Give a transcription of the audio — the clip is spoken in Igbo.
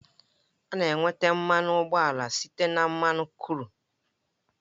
A na-enweta mmanụ ụgbọala site na mmanụ kru